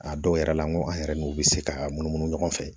A dɔw yɛrɛ la n ko an yɛrɛ n'u bɛ se k'a munumunu ɲɔgɔn fɛ